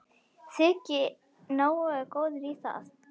Þyki nógu góður í það.